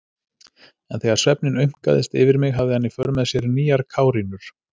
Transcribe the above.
En þegar svefninn aumkaðist yfir mig hafði hann í för með sér nýjar kárínur.